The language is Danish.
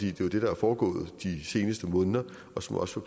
er jo det der er foregået i de seneste måneder og som også